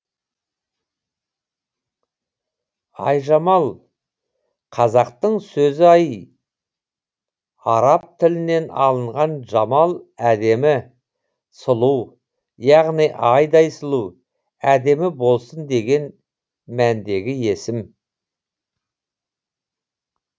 айжамал қазақтың сөзі ай араб тілінен алынған жамал әдемі сұлу яғни айдай сұлу әдемі болсын деген мәндегі есім